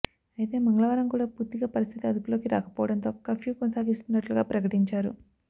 అయితే మంగళవారం కూడా పూర్తిగా పరిస్థితి అదుపులోకి రాకపోవడంతో కర్ఫ్యూ కొనసాగిస్తున్నట్లుగా ప్రకటించారు